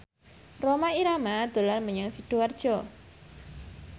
Rhoma Irama dolan menyang Sidoarjo